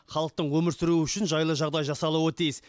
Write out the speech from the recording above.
халықтың өмір сүруі үшін жайлы жағдай жасалуы тиіс